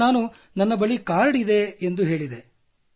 ಅದಕ್ಕೆ ನಾನು ನನ್ನ ಬಳಿ ಕಾರ್ಡ್ ಇದೆ ಎಂದು ಹೇಳಿದೆ